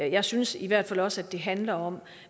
jeg synes i hvert fald også at det handler om